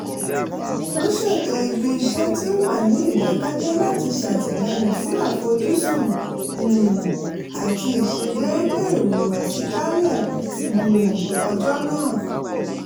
wọ́n ṣètò ibi iṣẹ́ tí ó wà ní ìdàkẹ́jẹ́ láti ṣàtìlẹyìn fún àfojúsùn um àti ìṣedéédé ìhùwàsí jálẹ̀ um ọjọ́ nàà